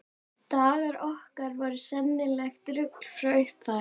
Dagar okkar voru sennilegt rugl frá upphafi.